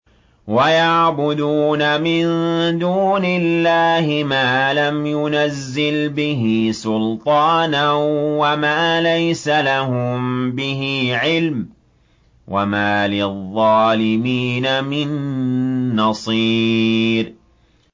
وَيَعْبُدُونَ مِن دُونِ اللَّهِ مَا لَمْ يُنَزِّلْ بِهِ سُلْطَانًا وَمَا لَيْسَ لَهُم بِهِ عِلْمٌ ۗ وَمَا لِلظَّالِمِينَ مِن نَّصِيرٍ